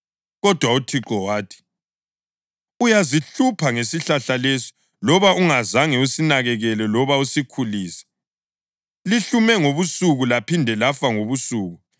Kodwa uThixo wathi, “Uyazihlupha ngesihlahla lesi loba ungazange usinakekele loba usikhulise. Lihlume ngobusuku laphinde lafa ngobusuku.